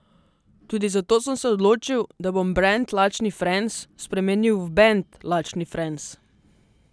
Tudi zato sem se odločil, da bom brand Lačni Franz spremenil v band Lačni Franz.